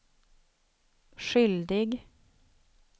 skyldig